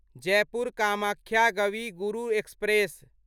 Jaipur Kamakhya Kavi Guru express